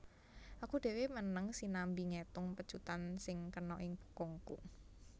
Aku dhéwé meneng sinambi ngétung pecutan sing kena ing bokongku